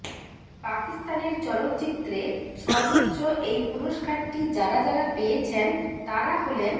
পাকিস্তানের চলচ্চিত্রে সর্ব্বোচ্চ এই পুরস্কারটি যারা যারা পেয়েছেন তারা হলেনঃ